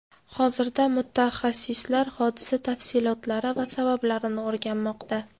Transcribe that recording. Hozirda mutaxassislar hodisa tafsilotlari va sabablarini o‘rganmoqda.